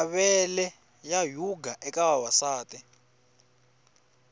mavele ya yhuga eka vavasati